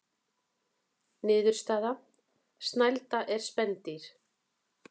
Niðurstaða: Snælda er spendýr.